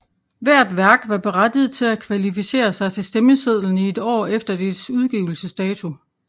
Hvert værk var berettiget til at kvalificere sig til stemmesedlen i et år efter dets udgivelsesdato